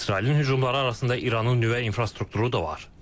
İsrailin hücumları arasında İranın nüvə infrastrukturu da var.